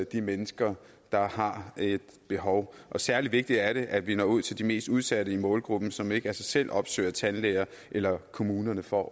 de mennesker der har et behov og særlig vigtigt er det at vi når ud til de mest udsatte i målgruppen som ikke af sig selv opsøger tandlægen eller kommunen for